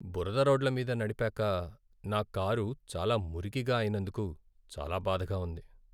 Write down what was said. బురద రోడ్ల మీద నడిపాక నా కారు చాలా మురికిగా అయినందుకు చాలా బాధగా ఉంది.